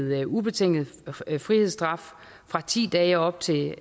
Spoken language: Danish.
med ubetinget frihedsstraf fra ti dage og op til